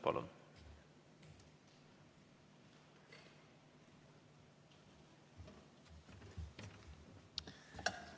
Palun!